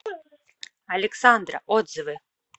александра отзывы